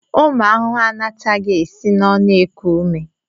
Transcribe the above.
Ụmụ ahụhụ anataghị esi n'ọnụ eku ume.